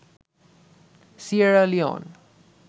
Sierra Leone